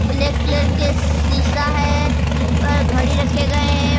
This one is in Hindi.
ब्लैक कलर का शीशा है जिसपर घड़ी रखे गए है।